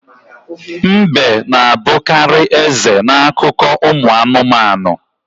Mbe na-abukarị eze n'akụkọ ụmụ anụmanụ.